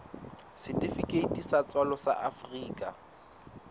setifikeiti sa tswalo sa afrika